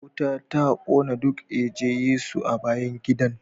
Wuta ta kone duk eje- Yesu a bayan gidan